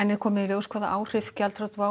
er komið í ljós hvaða áhrif gjaldþrot WOW